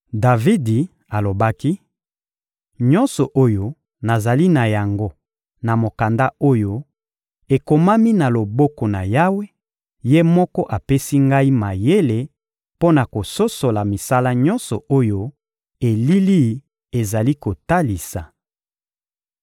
Davidi alobaki: — Nyonso oyo nazali na yango na mokanda oyo, ekomami na loboko na Yawe; Ye moko apesi ngai mayele mpo na kososola misala nyonso oyo elili ezali kotalisa.